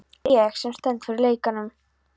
Að það sé ég, sem stend fyrir lekanum.